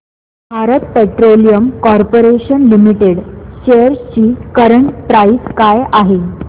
Bharat petroleum corporation limited shares ची current price काय आहे